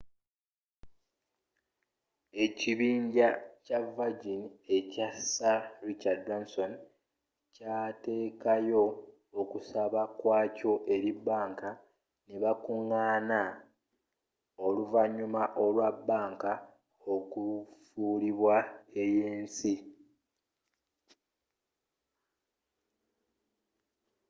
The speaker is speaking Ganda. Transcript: ekibinja kya virgin ekya sir richard branson kyatekayo okusaba kwa kyo eri bbanka nebakugaana oluvannyuma olwa bbanka okufuulibwa ey'ensi